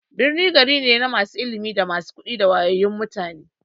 Birni gari ne na masu ilimi, da masu kuɗi da wayayyun mutane.